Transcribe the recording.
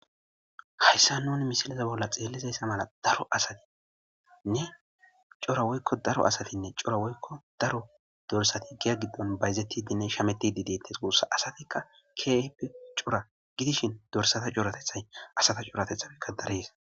Hayssan misille bolla xeellizayssa mala daro asaynne cora woyka daro asatinne cora woyko daro dorssati giya giddon bayzzetinne shamettidites guussa. Asattika keehippe cora gidishin dorssatta coratetay asata coratetappe darees.